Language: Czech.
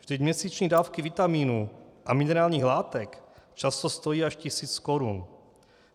Vždyť měsíční dávky vitamínů a minerálních látek často stojí až tisíc korun.